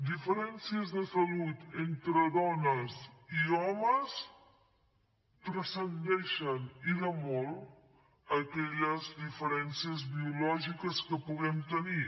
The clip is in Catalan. diferències de salut entre dones i homes transcendeixen i de molt aquelles diferències biològiques que puguem tenir